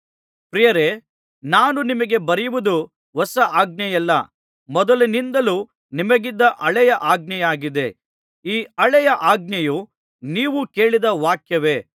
ಪ್ರಿಯರೇ ನಾನು ನಿಮಗೆ ಬರೆಯುವುದು ಹೊಸ ಆಜ್ಞೆಯಲ್ಲ ಮೊದಲಿನಿಂದಲೂ ನಿಮಗಿದ್ದ ಹಳೆಯ ಆಜ್ಞೆಯಾಗಿದೆ ಈ ಹಳೆಯ ಆಜ್ಞೆಯು ನೀವು ಕೇಳಿದ ವಾಕ್ಯವೇ